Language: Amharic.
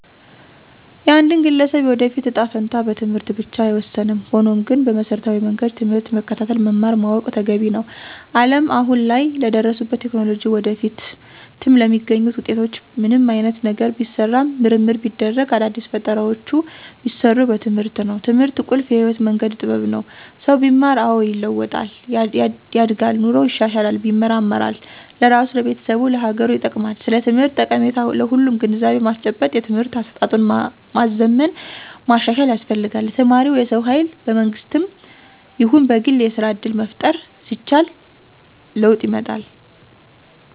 የአንድን ግለሰብ የወደፊት እጣ ፈንታ በትምህርት ብቻ አይወሰንም። ሆኖም ግን በመሰረታዊ መንገድ ትምህርትን መከታተል መማር ማወቅ ተገቢ ነው። አለም አሁን ላይ ለደረሱበት ቴክኖሎጂ ወደፊትም ለሚገኙት ውጤቶች ምንም አይነት ነገር ቢሰራ ምርምር ቢደረግ አዳዲስ ፈጠራውች ቢሰሩ በትምህርት ነው። ትምህርት ቁልፍ የህይወት መንገድ ጥበብ ነው። ሰው ቢማር አዎ ይለዋጣል፣ ያድጋል ኑሮው ይሻሻላል ይመራመራል ለራሱ፣ ለቤተሰቡ፣ ለሀገሩ ይጠቅማል። ስለ ትምህርት ጠቀሜታ ለሁሉም ግንዛቤ ማስጨበጥ የትምህርት አሰጣጡን ማዘመን ማሻሻል ያስፈልጋል። ለተማረው የሰው ሀይል በመንግስትም ይሁን በግል የስራ እድል መፍጠር ሲቻል ለወጥ ይመጣል።